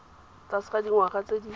tlase ga dingwaga tse di